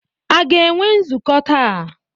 A ga-enwe nzukọ taa?